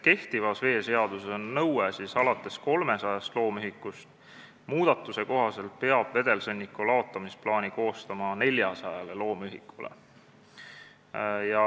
Kehtivas veeseaduses on nõue alates 300 loomühikust, muudatuse kohaselt peab vedelsõnniku laotusplaani koostama 400 loomühikule.